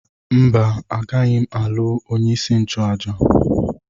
Mba, agaghị m alụ onye isi nchụaja.